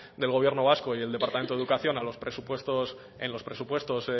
del gobierno vasco y el departamento de educación en los presupuestos